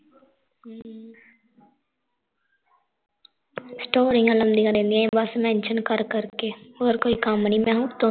ਸਟੋਰੀਆਂ ਲਾਉਂਦੀਆਂ ਰਹਿੰਦੀਆਂ ਬਸ mention ਕਰ-ਕਰ ਕੇ ਹੋਰ ਕੋਈ ਕੰਮ ਨੀ ਮੈਂ ਕਿਹਾ ਉੱਤੋਂ-ਉੱਤੋਂ